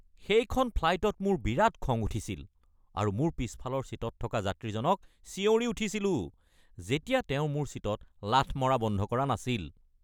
সেইখন ফ্লাইটত মোৰ বিৰাট খং উঠিছিল আৰু মোৰ পিছফালৰ ছিটত থকা যাত্ৰীজনক চিঞৰি উঠিছিলোঁ যেতিয়া তেওঁ মোৰ ছিটত লাথ মাৰা বন্ধ কৰা নাছিল।